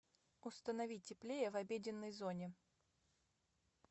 установи теплее в обеденной зоне